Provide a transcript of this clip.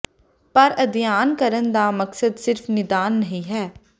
ਪਰ ਅਧਿਐਨ ਕਰਨ ਦਾ ਮਕਸਦ ਸਿਰਫ ਨਿਦਾਨ ਨਹੀ ਹੈ